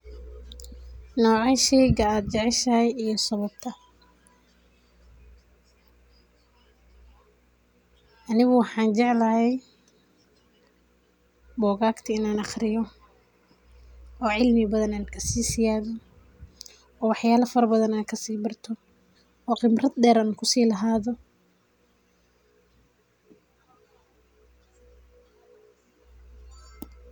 Nocee sheeygan AA jaceshashay, iyo sawabtaa anigu waxajeclahay bogagta ini aqhariyoh oo celmi bathan ankasameeyoh oo waxyalaha farabathan kawabartoh oo qebatbdeer ankuselahathoh .